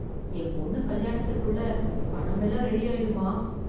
என் பொண்ணு கல்யாணத்துக்குள்ள பணம் எல்லாம் ரெடி ஆயிடுமா?